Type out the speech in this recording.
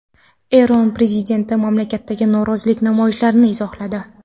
Eron prezidenti mamlakatdagi norozilik namoyishlarini izohladi.